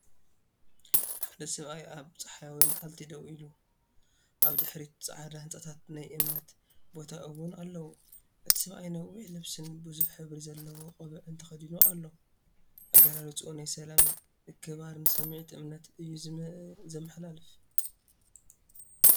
ሓደ ሰብኣይ ኣብ ጸሓያዊ መዓልቲ ደው ኢሉ፡ ኣብ ድሕሪት ጻዕዳ ህንጻታትን ናይ እምነት ቦታ ውን ኣለዎ። እቲ ሰብኣይ ነዊሕ ልብስን ብዙሕ ሕብሪ ዘለዎ ቆቢዕን ተኸዲኑ ኣሎ። ኣገላልጻኡ ናይ ሰላምን ምክብባርን ስምዒት እምነትን እዩ ዘመሓላልፍ።